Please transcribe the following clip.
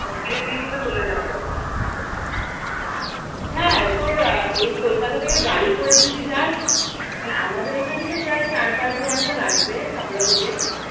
হ্যাঁ তোর আহ এই কলকাতা থেকে গাড়ি করে যদি যাস মানে আমাদের এখান থেকে প্রায় চার পাঁচ ঘন্টা লাগবে হাবড়া থেকে